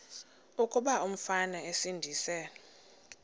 kuba umfana esindise